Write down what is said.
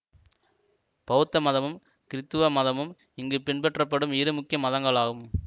பௌத்த மதமும் கிறித்தவ மதமும் இங்கு பின்பற்றப்படும் இரு முக்கிய மதங்களாகும்